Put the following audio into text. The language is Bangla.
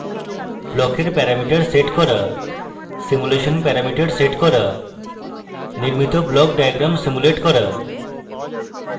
ব্লকের প্যারামিটার সেট করা simulate প্যারামিটার সেট করা নির্মিত block diagram simulate করা